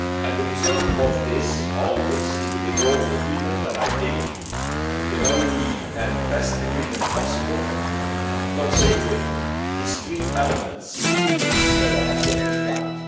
The result of all this is the withdrawal agreement, and I think the only and best agreement possible, considering these three elements that I have just described.